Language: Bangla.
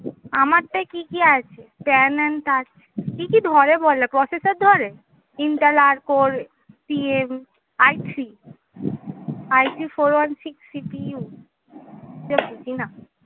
আমার টাই কি কি আছে? কি কি ধরে বলো? processor ধরে? intel R core, cm, I three, I three four one six CPU এত বুঝিনা।